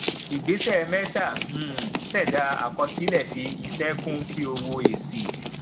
ìgbésẹ mẹta um ṣẹdá àkọsílẹ fi iṣẹ kún kí o wo èsì